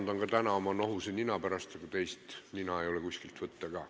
Palun vabandust oma nohuse nina pärast, aga teist nina ei ole ka kuskilt võtta.